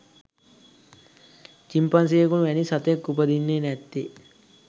චිම්පන්සියෙකු වැනි සතෙක් උපදින්නේ නැත්තේ.